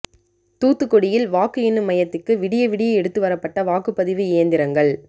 தூத்துக்குடியில் வாக்கு எண்ணும் மையத்துக்கு விடிய விடிய எடுத்து வரப்பட்ட வாக்குப்பதிவு இயந்திரங்கள்